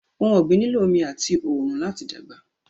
Ọhun ọ̀gbin nílọ̀ ọmì atì oòrun lati dágba.